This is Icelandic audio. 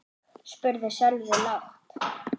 spurði Sölvi lágt.